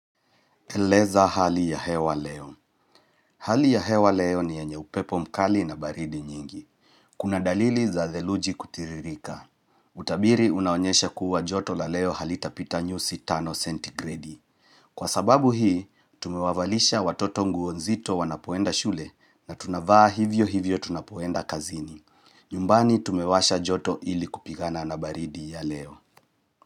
Eleza hali ya hewa leo. Hali ya hewa leo ni yenye upepo mkali na baridi nyingi. Kuna dalili za theluji kutiririka. Utabiri unaonyesha kuwa joto la leo halitapita nyusi 5 centigredi. Kwa sababu hii, tumewavalisha watoto nguo nzito wanapoenda shule na tunavaa hivyo hivyo tunapoenda kazini. Nyumbani tumewasha joto ili kupigana na baridi ya leo.